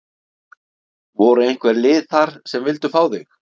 Voru einhver lið þar sem vildu fá þig?